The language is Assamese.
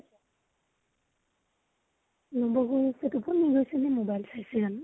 টোপনি গৈছিলি mobile চাই চাই, জানো?